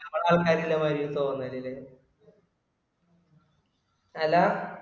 അമ്മള ആള്ക്കാര് ഇള്ള മാതിരി തോന്നല്ല് അല